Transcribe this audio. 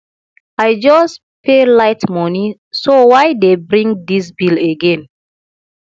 i just pay light money so why dey bring dis bill again